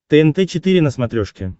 тнт четыре на смотрешке